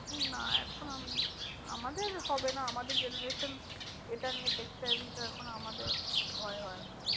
না, এখন আমি আমাদের হবে না আমাদের generation এটা নিয়ে এখন আমাদের ভয় হয় না।